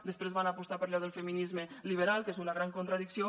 després van apostar per allò del feminisme liberal que és una gran contradicció